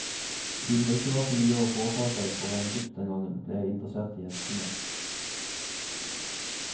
Siden det ikke var så mye å foreta seg for en gutt den gangen, ble jeg interessert i hestene.